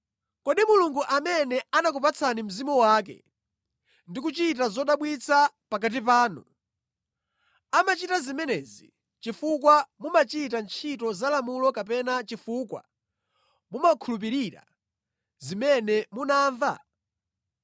Kodi Mulungu amene anakupatsani Mzimu wake ndi kuchita zodabwitsa pakati panu, amachita zimenezi chifukwa mumachita ntchito za lamulo kapena chifukwa mumakhulupirira zimene munamva?